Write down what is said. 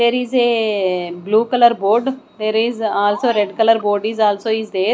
there is a blue colour board there is also red colour board is also is there.